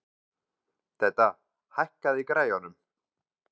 Dedda, hækkaðu í græjunum.